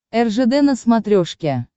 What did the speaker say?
ржд на смотрешке